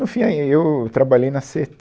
No fim, e aí eu trabalhei na cê tê